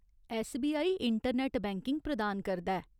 SBI internet banking प्रदान करदा ऐ।